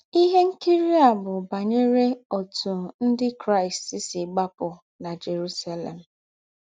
Ihe nkiri a bụ banyere ọtụ Ndị Krịsti si gbapụ na Jerụselem.